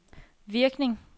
virkning